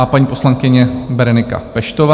A paní poslankyně Berenika Peštová.